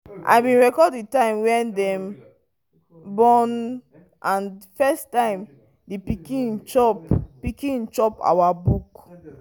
the new pikin cry nake noise and come begin suck breast sharp sharp.